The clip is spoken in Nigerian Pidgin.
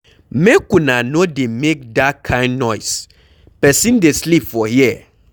Make una no dey make dat kin noise, person dey sleep for here